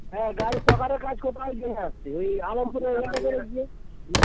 হ্যা গাড়ির ছকারের কাজ ওই আলমপুরের ঐখানে হ্যা